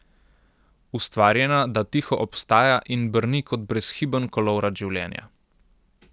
Ustvarjena, da tiho obstaja in brni kot brezhiben kolovrat življenja.